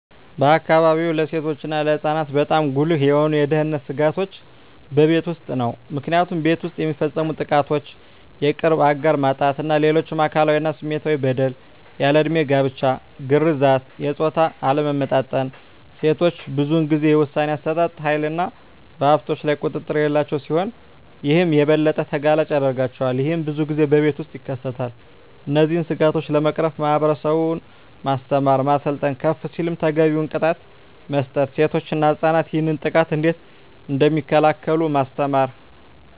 በአካባቢዎ ለሴቶች እና ለህፃናት በጣም ጉልህ የሆኑ የደህንነት ስጋቶች በቤት ውስጥ ነው። ምክንያቱም ቤት ውስጥ የሚፈፀሙ ጥቃቶች የቅርብ አጋር ጥቃት እና ሌሎች አካላዊ እና ስሜታዊ በደል፣ ያልድሜ ጋብቻ፣ ግርዛት፣ የፆታ አለመመጣጠን፣ ሴቶች ብዙን ጊዜ የውሣኔ አሠጣጥ ሀይልና በሀብቶች ላይ ቁጥጥር የሌላቸው ሲሆን ይህም የበለጠ ተጋላጭ ያደርጋቸዋል። ይህም ብዙን ጊዜ በቤት ውስጥ ይከሰታል። እነዚህን ስጋቶች ለመቅረፍ ማህበረሰቡን ማስተማር፣ ማሰልጠን፣ ከፍ ሲልም ተገቢውን ቅጣት መስጠት፣ ሴቶች እና ህፃናት ይህንን ጥቃት እንዴት እደሚከላከሉ ማስተማር።